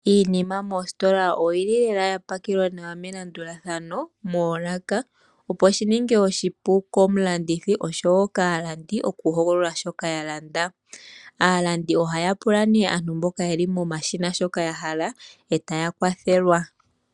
Iinima moositola oyili lela ya pakelwa melandulathano moolaka, opo shininge oshipu komulandithi oshowo kaalandi okuhogolola shoka taa landa. Aalandi ohaa pula nduno aantu mboka yeli pomashina ya hala, etaya kwathelwa.